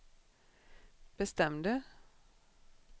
bestämde